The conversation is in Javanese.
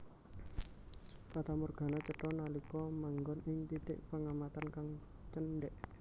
Fatamorgana cetha nalika manggon ing titik pengamatan kang cendhèk